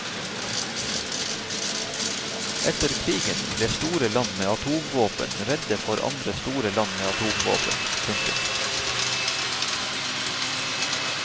Etter krigen ble store land med atomvåpen redde for andre store land med atomvåpen. punktum